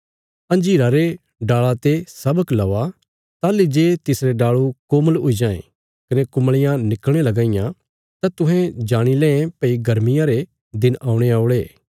अंजीरा रे डाल़ा ते शबक लेवा ताहली जे तिसरे डाल़ू कोमल हुई जायें कने कुमल़ियां निकल़णे लगां इयां तां तुहें जाणी लें भई गर्मियां रे दिन औणे औल़े